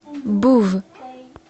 був